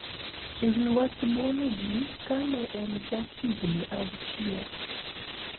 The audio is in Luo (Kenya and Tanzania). E wi wach buono ji ka ne en ja higni auchiel